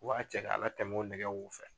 U b'a cɛ k'a latɛmɛ o nɛgɛw fɛ